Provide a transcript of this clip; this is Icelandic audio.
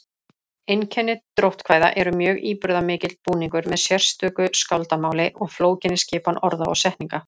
Einkenni dróttkvæða eru mjög íburðarmikill búningur með sérstöku skáldamáli og flókinni skipan orða og setninga.